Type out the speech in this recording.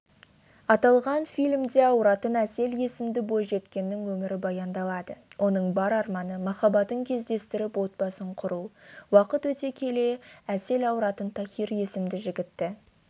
аталған фильмде ауыратын әсел есімді бойжеткеннің өмірі баяндалады оның бар арманы махаббатын кездестіріп отбасын құру уақыт өте әсел ауыратынтахир есімді жігітті